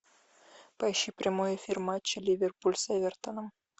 поищи прямой эфир матча ливерпуль с эвертоном